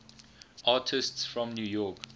artists from new york